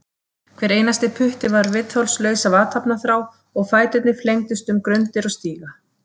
Hver einasti putti var viðþolslaus af athafnaþrá og fæturnir flengdust um grundir og stíga.